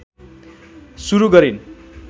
सुरु गरिन्